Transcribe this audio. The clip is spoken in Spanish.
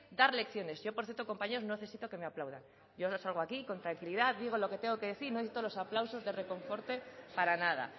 dar lecciones yo por cierto compañeros no necesito que me aplaudan yo no salgo aquí con tranquilidad digo lo que te tengo que decir no necesito los aplausos de reconforte para nada